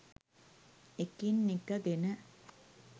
එකින් එක ගෙන